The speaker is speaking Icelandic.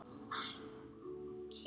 Elsku Mæja okkar.